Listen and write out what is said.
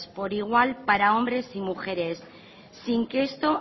por igual para hombres y mujeres sin que esto